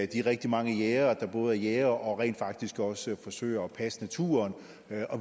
de rigtig mange jægere der både er jægere og rent faktisk også forsøger at passe naturen